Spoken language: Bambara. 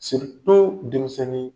denmisɛnni